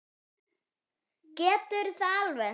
Geturðu það alveg?